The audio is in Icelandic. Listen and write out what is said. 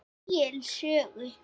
Egils sögu.